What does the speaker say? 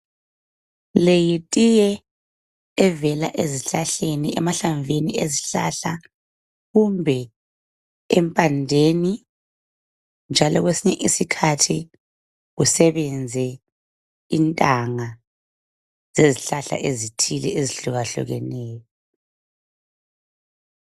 Le yitiye evela ezihlahleni, emahlamvini ezihlahla kumbe empandeni njalo kwesinye isikhathi kusebenze intanga zezihlahla ezithile ezihlukahlukeneyo.